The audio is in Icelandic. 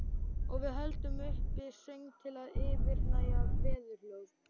Og við höldum uppi söng til að yfirgnæfa veðurhljóð.